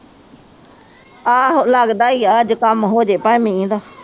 ਆਹ ਲਗਦਾ ਹੀ ਆ ਅੱਜ ਕਮ ਹੋਜੇ ਇਹਦਾ